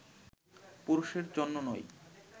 পুরুষের জন্য নয়